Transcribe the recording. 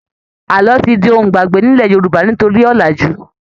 Àlọ́ ti di ohun ìgbàgbé nílẹ̀ Yorùbá nítorí ọ̀làjú.